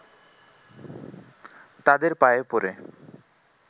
তাদের পায়ে পড়ে